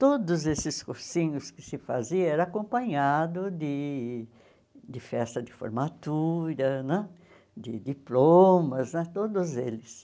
Todos esses cursinhos que se faziam eram acompanhados de de festa de formatura né, de diplomas né, todos eles.